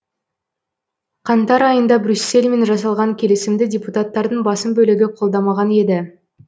қаңтар айында брюссельмен жасалған келісімді депутаттардың басым бөлігі қолдамаған еді